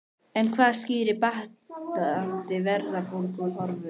En hvað skýrir batnandi verðbólguhorfur?